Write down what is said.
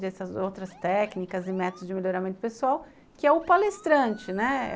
Dessas outras técnicas e métodos de melhoramento pessoal, que é o palestrante, né?